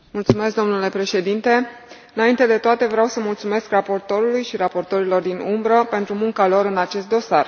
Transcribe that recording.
Domnule președinte, înainte de toate vreau să mulțumesc raportorului și raportorilor din umbră pentru munca lor în acest dosar.